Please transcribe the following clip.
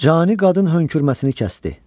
Cani qadın hönkürməsini kəsdi.